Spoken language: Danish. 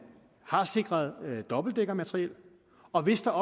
har sikret et dobbeltdækkermateriel og hvis der